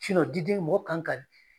diden mɔgɔ kan ka